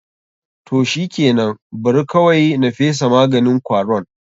Toh shikenan, Bari kawaui na fesa maganin kwaron.